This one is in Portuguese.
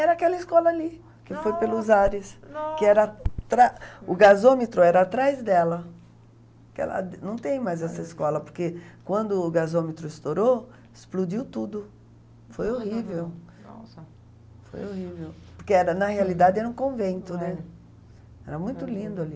Era aquela escola ali que foi pelos ares, que era atra o gasômetro era atrás dela que ela não tem mais essa escola porque quando o gasômetro estourou explodiu tudo, foi horrível. Nossa. Foi horrível. Porque era, na realidade era um convento, né, era muito lindo ali.